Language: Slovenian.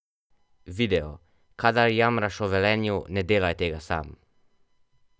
Video: 'Kadar jamraš o Velenju, ne delaj tega sam.